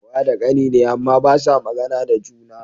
Wa da kani ne, Amma basa magAna da juna